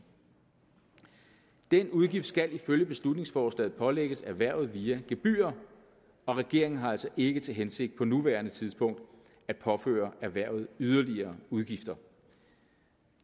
den udgift skal ifølge beslutningsforslaget pålægges erhvervet via gebyrer og regeringen har altså ikke til hensigt på nuværende tidspunkt at påføre erhvervet yderligere udgifter